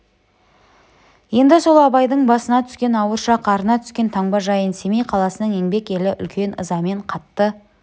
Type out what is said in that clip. енді сол абайдың басына түскен ауыр шақ арына түскен таңба жайын семей қаласының еңбек елі үлкен ызамен қатты